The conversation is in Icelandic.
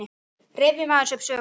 Fleiri svör um sama efni